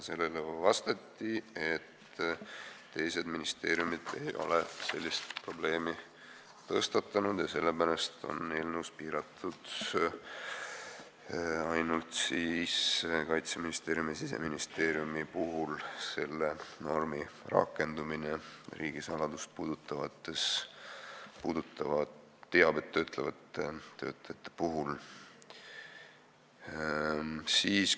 Sellele vastati, et teised ministeeriumid ei ole sellist probleemi tõstatanud ja sellepärast on ainult Kaitseministeeriumis ja Siseministeeriumis riigisaladust puudutavat teavet töötlevate töötajate puhul selle normi rakendamist piiratud.